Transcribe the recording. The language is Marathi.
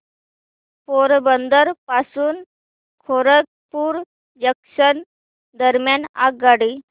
पोरबंदर पासून खरगपूर जंक्शन दरम्यान आगगाडी